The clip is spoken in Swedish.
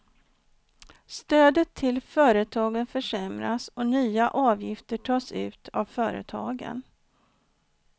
Stödet till företagen försämras och nya avgifter tas ut av företagen.